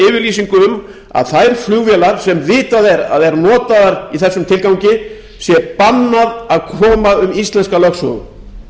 yfirlýsingu um að þeim flugvélum sem vitað er að eru notaðar í þessum tilgangi sé bannað